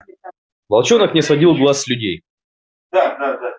волчонок не сводил глаз с людей да да да